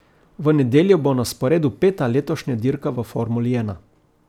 V nedeljo bo na sporedu peta letošnja dirka v formuli ena.